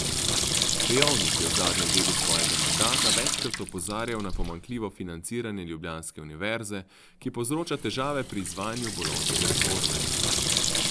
Pejovnik je v zadnjem delu svojega mandata večkrat opozarjal na pomanjkljivo financiranje ljubljanske univerze, ki povzroča težave pri izvajanju bolonjske reforme.